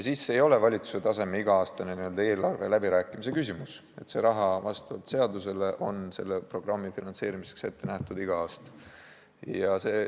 Siis ei ole see valitsuse tasemel iga-aastane n-ö eelarveläbirääkimise küsimus, vaid see raha on vastavalt seadusele selle programmi finantseerimiseks ette nähtud iga aasta.